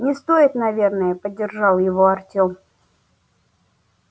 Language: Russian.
не стоит наверное поддержал его артем